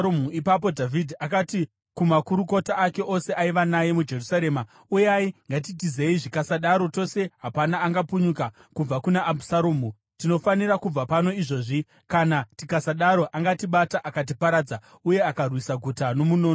Ipapo Dhavhidhi akati kumakurukota ake ose aiva naye muJerusarema, “Uyai! Ngatitizei, zvikasadaro tose hapana angapunyuka kubva kuna Abhusaromu. Tinofanira kubva pano izvozvi, kana tikasadaro angatibata akatiparadza uye akarwisa guta nomunondo.”